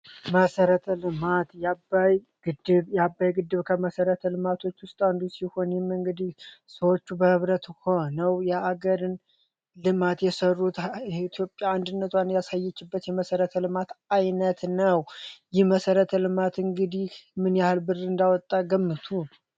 መሰረተ ልማት የአባይ ግድብአባይ ግድብ ከመሠረት ልማቶች ውስጥ አንዱ ሲሆንም እንግዲህ ሰዎቹ በህብረት ሆነው የአገርን ልማት የሰሩት ኢትዮጵያ አንድነቷን ያሳየችበት የመሠረተ ልማት ዓይነት ነው። ይህ መሰረት ልማት እንግዲህ ምን ያህል ብድር እንዳወጣ ገምቱ።